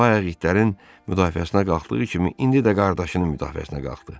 Amma bayaq itlərin müdafiəsinə qalxdığı kimi, indi də qardaşının müdafiəsinə qalxdı.